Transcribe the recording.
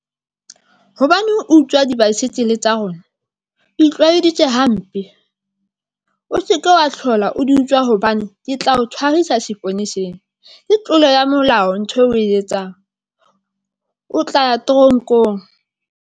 Hobaneng utswa di-bicycle tsa rona? O itlwaetse hampe, o se ke wa hlola o di utswa, hobane ke tla o tshwarisa seponeseng, ke tlolo ya molao ntho eo o e etsang o tla ya teronkong.